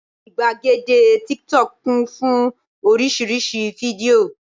ìgbàgede tíktọk kún fún oríṣiríṣi fídíò